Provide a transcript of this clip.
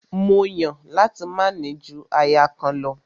Mó Yàn láti máa ní ju aya kan lọ.